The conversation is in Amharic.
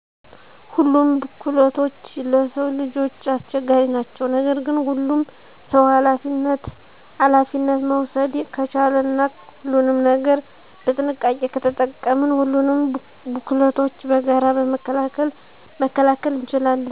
ሁሉም ቡክለቶች ለስዉ ልጆች አስቸጋሪ ናቸዉ። ነገር ግን ሁሉም ሰዉ አላፊነት መዉሰደ ከቻለ እና ሁሉንም ነገር በጥንቃቄ ከተጠቀምን ሁሉንም ቡክለቶች በጋራ መከላከል እንችላለን።